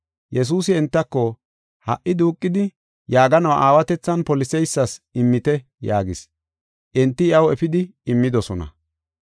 Yesuusi entako, “Ha77i duuqidi yaaganuwa aawatethan poliseysas immite” yaagis. Enti iyaw efidi immidosona.